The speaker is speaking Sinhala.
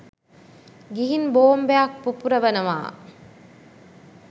ගිහින් බෝමබයක් පුපුරවනවා.